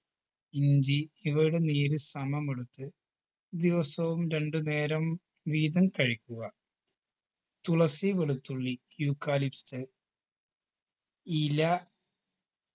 ഇഞ്ചി ഇവയുടെ നീര് സമം എടുത്ത് ദിവസവും രണ്ട് നേരം വീതം കഴിക്കുക തുളസി വെളുത്തുള്ളി eucalyptus ഇല